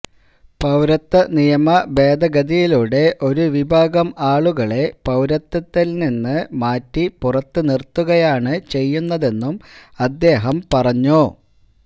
പൌരത്വ നിയമ ഭേദഗതിയിലൂടെ ഒരു വിഭാഗം ആളുകളെ പൌരത്വത്തില് നിന്ന് മാറ്റി പുറത്തുനിര്ത്തുകയാണ് ചെയ്യുന്നതെന്നും അദ്ദേഹം പറഞ്ഞു